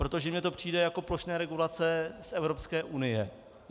Protože mně to přijde jako plošné regulace z Evropské unie.